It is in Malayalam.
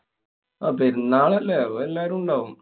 ആഹ് പെരുന്നാളല്ലേ? അപ്പൊ എല്ലാരും ഉണ്ടാവും.